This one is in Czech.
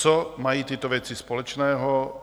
Co mají tyto věci společného?